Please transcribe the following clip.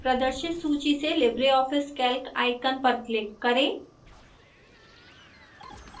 प्रदर्शित सूची से libreoffice calc icon पर click करें